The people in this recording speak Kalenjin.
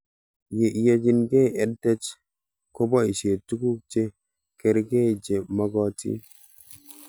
Ye iyanchikei EdTech kopoishe tuguk che karkei che magatin